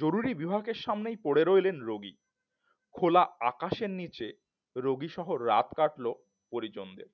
জরুরী বিভাগের সামনেই পড়ে রইলেন রোগী খোলা আকাশের নিচে রোগীর সঙ্গে রাত কাটল পরিজন দের